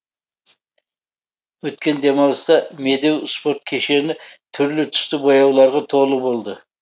өткен демалыста медеу спорт кешені түрлі түсті бояуларға толы болды